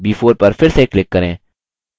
b4 पर फिर से click करें